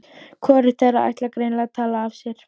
Hvorugt þeirra ætlar greinilega að tala af sér.